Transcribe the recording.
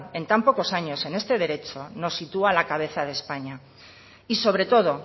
en tan pocos años en este derecho nos sitúa a la cabeza de españa y sobre todo